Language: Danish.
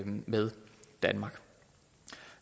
med danmark